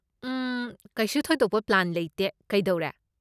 ꯎꯝ, ꯀꯩꯁꯨ ꯊꯣꯏꯗꯣꯛꯄ ꯄ꯭ꯂꯥꯟ ꯂꯩꯇꯦ, ꯀꯩꯗꯧꯔꯦ?